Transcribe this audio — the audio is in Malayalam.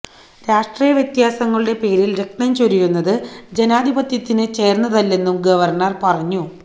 രാഷ്ട്രീയ വ്യത്യാസങ്ങളുടെ പേരിൽ രക്തം ചൊരിയുന്നത് ജനാധിപത്യത്തിന് ചേർന്നതല്ലെന്നും ഗവർണർ പറഞ്ഞു